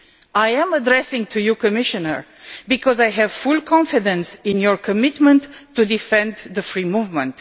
I am addressing you, Commissioner, because I have full confidence in your commitment to the defence of free movement.